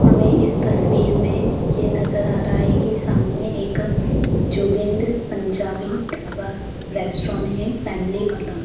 हमें इस तस्वीर में ये नजर आ रहा है कि सामने एक जोगेंद्र पंजाबी डाबा रेस्टोरेंट है फैमिली वाला--